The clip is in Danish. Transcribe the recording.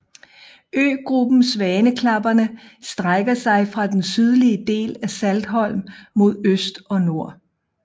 Øgruppen Svaneklapperne strækker sig fra den sydlige del af Saltholm mod øst og nord